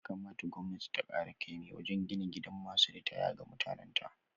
Ya kamata gwamnati ta kara kaimin wajen gina gidan masu ritaya ga mutanan ta